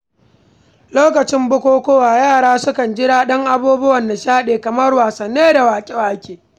Lokacin bukukuwa, yara sukan ji daɗin abubuwan nishaɗi kamar wasanni da waƙe-waƙe